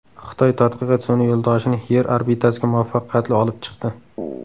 Xitoy tadqiqot sun’iy yo‘ldoshini Yer orbitasiga muvaffaqiyatli olib chiqdi.